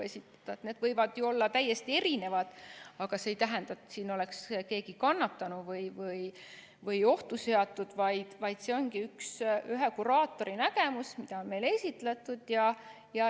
Need võivad ju olla täiesti erinevad, aga see ei tähenda, et siin oleks keegi kannatanud või ohtu seatud, vaid see ongi ühe kuraatori nägemus, mida on meile esitletud.